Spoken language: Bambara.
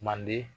Manden